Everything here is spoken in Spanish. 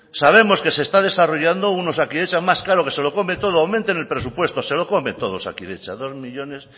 sabemos que se está desarrollando un osakidetza más caro que se lo come todo aumenten el presupuesto se lo come todo osakidetza dos millónes